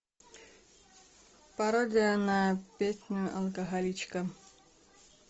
пародия на песню алкоголичка